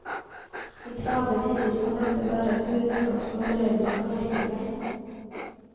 I travle tider kan dette være et budskap som foreldre kan merke seg.